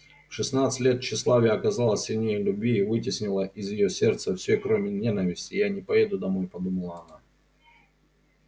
в шестнадцать лет тщеславие оказалось сильнее любви и вытеснило из её сердца все кроме ненависти я не поеду домой подумала она